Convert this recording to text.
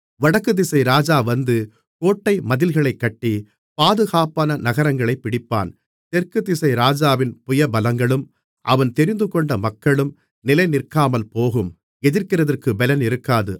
வடக்குதிசை ராஜா வந்து கோட்டைமதில்களைக் கட்டி பாதுகாப்பான நகரங்களைப் பிடிப்பான் தெற்கு திசை ராஜாவின் புயபலங்களும் அவன் தெரிந்துகொண்ட மக்களும் நிலைநிற்காமல்போகும் எதிர்க்கிறதற்குப் பெலன் இருக்காது